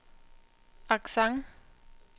accent